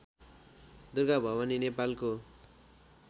दुर्गा भवानी नेपालको